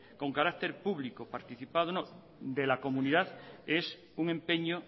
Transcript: con carácter público participado o no de la comunidad es un empeño